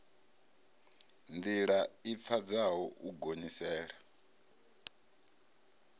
ndila i pfadzaho u gonyisela